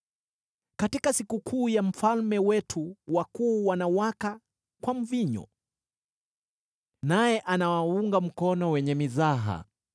Katika sikukuu ya mfalme wetu wakuu wanawaka kwa mvinyo, naye anawaunga mkono wenye mizaha.